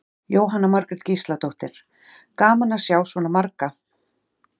Jóhanna Margrét Gísladóttir: Gaman að sjá svona marga?